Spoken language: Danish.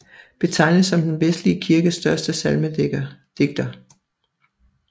Betegnes som den vestlige kirkes første salmedigter